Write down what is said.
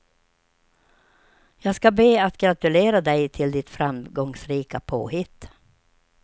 Jag ska be att gratulera dig till ditt framgångsrika påhitt.